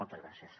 moltes gràcies